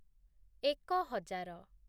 ଏକ ହଜାର